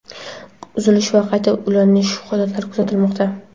uzilish va qayta ulanish holatlari kuzatilmoqda.